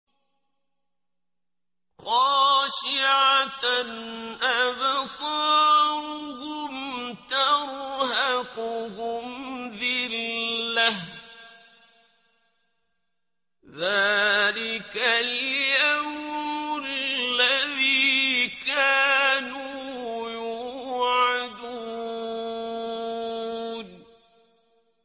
خَاشِعَةً أَبْصَارُهُمْ تَرْهَقُهُمْ ذِلَّةٌ ۚ ذَٰلِكَ الْيَوْمُ الَّذِي كَانُوا يُوعَدُونَ